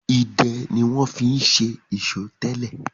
Idẹ ni wọ́n fi ń ṣe ìṣó tẹ́lẹ̀.